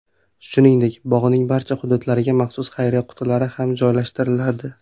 Shuningdek bog‘ning barcha hududlariga maxsus xayriya qutilari ham joylashtiriladi.